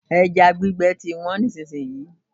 Ẹja gbígbẹ ti wọ́n nísìsiyìí.